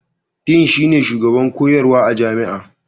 Dean shine shugaban koyarwa a jami'a.